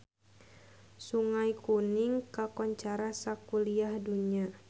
Sungai Kuning kakoncara sakuliah dunya